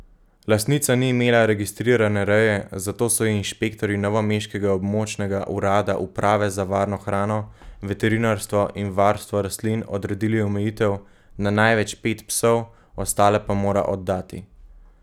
Lastnica ni imela registrirane reje, zato so ji inšpektorji novomeškega območnega urada Uprave za varno hrano, veterinarstvo in varstvo rastlin odredili omejitev na največ pet psov, ostale pa mora oddati.